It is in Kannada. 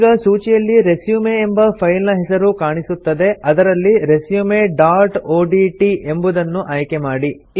ಈಗ ಸೂಚಿಯಲ್ಲಿ ರೆಸ್ಯೂಮ್ ಎಂಬ ಫೈಲ್ ನ್ ಹೆಸರು ಕಾಣಸಿಗುತ್ತದೆ ಅದರಲ್ಲಿ ರೆಸ್ಯೂಮ್ ಡಾಟ್ ಒಡಿಟಿ ಎಂಬುದನ್ನು ಆಯ್ಕೆಮಾಡಿ